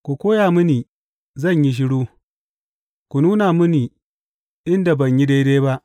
Ku koya mini, zan yi shiru; ku nuna mini inda ban yi daidai ba.